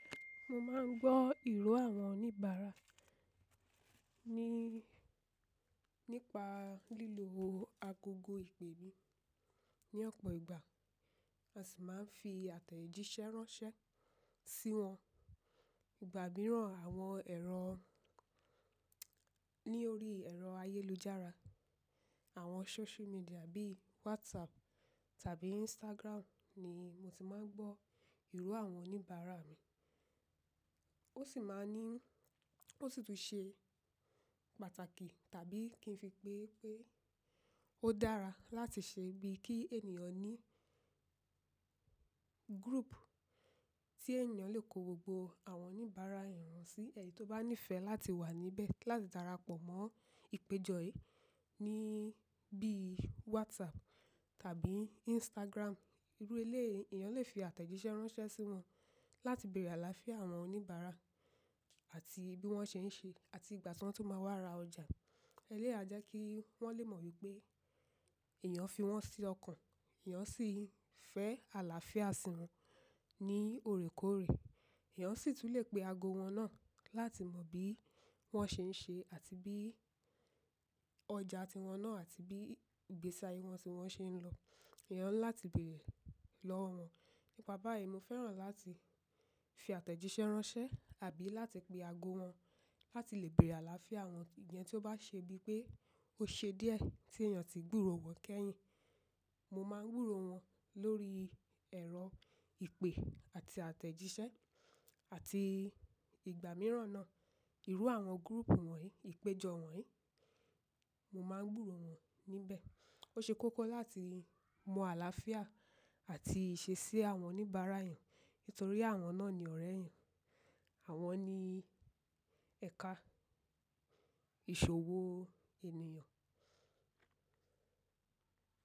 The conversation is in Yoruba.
Mo máa ń gbọ́ ìró àwọn oníbàárà nípa lílo agogo ìpè mi. Ni ọ̀pọ̀ ìgbà, a sì máa ń fi àtẹ̀jíṣẹ́ ránṣẹ́ sí wọn. Ìgbà mìíràn, àwọn ẹ̀rọ ní orí ẹ̀rọ ayélujára, àwọn social media bíi WhatsApp tàbí Instagram ni mo ti máa ń gbọ́ ìró àwọn oníbàárà mi. Ó sì máa ní, ó sì tún ṣe pàtàkì tàbí kí n fi pé pé ó dára láti ṣe bí kí ènìyàn ní group tí ènìyàn lè kó gbogbo àwọn oníbàárà èèyàn sí. Ẹni tí ó bá nífẹ̀ẹ́ láti wà níbẹ̀ láti darapọ̀ mọ́ ìpéjọ yìí ní bíi WhatsApp tàbí Instagram. Irú eléyìí èyán lè fi àtẹ̀jíṣẹ́ ránṣẹ́ sí wọn láti bèrè àlàáfíà àwọn oníbàárà àti bí wọ́n ṣe ń ṣe àti ìgbà tí wọ́n tu máa wá ra ọjà. Eléyìí a jẹ́ kí wọ́n lè mọ̀ wípé èèyàn fi wọ́n sí ọkàn, èèyàn sì fẹ́ àlàáfíà sí wọn ní òrékòrè. Èèyàn sì tún lè pe ago wọn náà láti mọ bí wọ́n ṣe ń ṣe àti bí ọjà tí wọn náà àti bí ìgbésí ayé wọn tí wọ́n ṣe ń lọ. Èèyàn ńlá ti bèrè lọ́wọ́ wọn. Nípa báyìí, mo fẹ́ràn láti fi àtẹ̀jíṣẹ́ ránṣẹ́ àbí láti pe ago wọn láti lè bèrè àlàáfíà wọn ìyẹn tí ó bá ṣe bí pé ó ṣe díẹ̀ tí èèyàn ti gbúró wọn kẹ́yìn. Mo máa ń gbúró wọn lórí ẹ̀rọ ìpè àti àtẹ̀jíṣẹ́ àti ìgbà mìíràn náà. Ìru àwọn group wọ̀nyí, ìpéjọ wọ̀nyí, mo máa ń gbúró wọn níbẹ̀. Ó ṣe kókó láti mọ àlàáfíà àti ìṣesí àwọn oníbàárà èèyàn nítorí àwọn náà ni ọ̀rẹ̀ èyán. Àwọn ni ẹ̀ka ìṣòwò ènìyàn.